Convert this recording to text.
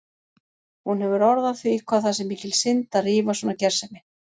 Hún hefur orð á því hvað það sé mikil synd að rífa svona gersemi.